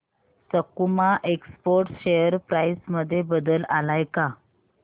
सकुमा exports share price मध्ये बदल आलाय का